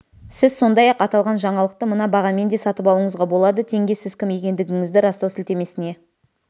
сіз сондай-ақ аталған жаңалықты мына бағамен де сатып алуыңызға болады теңге сіз кім екендігіңізді растау сілтемесіне